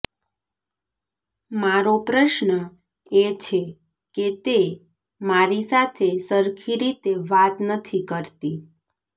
મારો પ્રશ્ન એ છે કે તે મારી સાથે સરખી રીતે વાત નથી કરતી